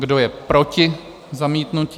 Kdo je proti zamítnutí?